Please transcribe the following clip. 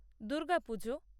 Durga Puja